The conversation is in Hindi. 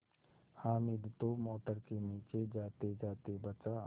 हामिद तो मोटर के नीचे जातेजाते बचा